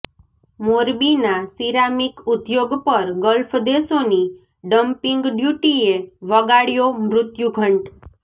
મોરબીના સિરામિક ઉદ્યોગ પર ગલ્ફ દેશોની ડમ્પિંગ ડ્યુટીએ વગાડ્યો મૃત્યુ ઘંટ